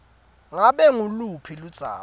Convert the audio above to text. ngabe nguluphi ludzaba